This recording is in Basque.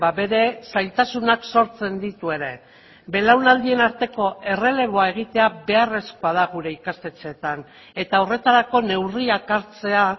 bere zailtasunak sortzen ditu ere belaunaldien arteko erreleboa egitea beharrezkoa da gure ikastetxeetan eta horretarako neurriak hartzea